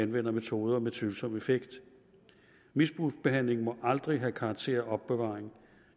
metoder med tvivlsom effekt misbrugsbehandling må aldrig have karakter af opbevaring